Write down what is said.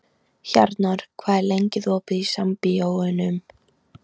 Hjarnar, hvað er lengi opið í Sambíóunum?